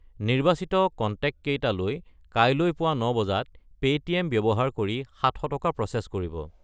নিৰ্বাচিত কনটেক্টকেইটালৈ কাইলৈ পুৱা ৯ বজাত পে'টিএম ব্যৱহাৰ কৰি 700 টকা প্ৰ'চেছ কৰিব।